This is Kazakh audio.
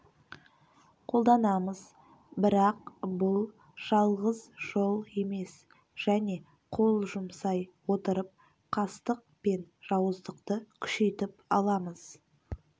қолданамыз бірақ бұл жалғыз жол емес және қол жұмсай отырып қастық пен жауыздықты күшейтіп аламыз